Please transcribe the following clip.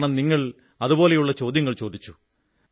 കാരണം നിങ്ങൾ അതുപോലുള്ള ചോദ്യങ്ങൾ ചോദിച്ചു